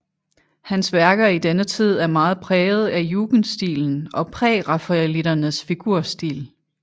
Hans værker i denne tid er meget præget af jugendstilen og prærafaelitternes figurstil